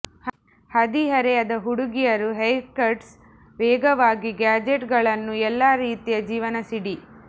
ಹದಿಹರೆಯದ ಹುಡುಗಿಯರು ಹೇರ್ಕಟ್ಸ್ ವೇಗವಾಗಿ ಗ್ಯಾಜೆಟ್ಗಳನ್ನು ಎಲ್ಲಾ ರೀತಿಯ ಜೀವನ ಸಿಡಿ